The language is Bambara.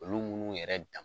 Olu munnu yɛrɛ dan